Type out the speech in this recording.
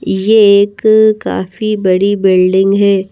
ये एक काफी बड़ी बिल्डिंग है।